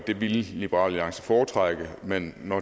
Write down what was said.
det ville liberal alliance foretrække men når